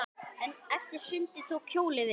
Eftir sundið tók hjólið við.